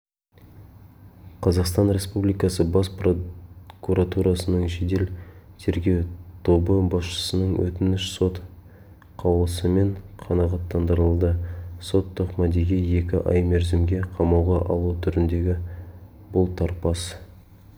қазақстан республикасы бас прокуратурасының жедел-тергеу тобы басшысының өтініші сот қаулысымен қанағаттандырылды сот тоқмадиге екі ай мерзімге қамауға алу түріндегі бұлтарпас